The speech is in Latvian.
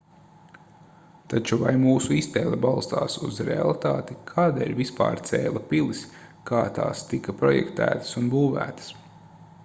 taču vai mūsu iztēle balstās uz realitāti kādēļ vispār cēla pilis kā tās tika projektētas un būvētas